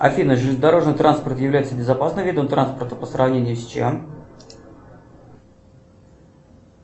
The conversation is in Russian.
афина железнодорожный транспорт является безопасным видом транспорта по сравнению с чем